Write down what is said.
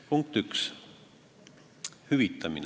Punkt 1, hüvitamine.